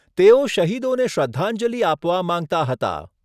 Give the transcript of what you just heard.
તેઓ શહીદોને શ્રદ્ધાંજલિ આપવા માંગતા હતા.